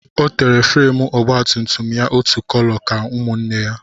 Ọ tere fúremú ọgba tum tum ya otu kóló ka ụmụnne ya